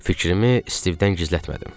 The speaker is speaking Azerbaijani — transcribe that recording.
Fikrimi Stivdən gizlətmədim.